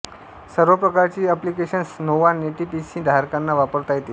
सर्व प्रकारची applications Nova NetPC धारकांना वापरता येतील